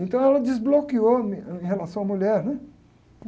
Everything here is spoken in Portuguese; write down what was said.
Então, ela desbloqueou em relação à mulher, né?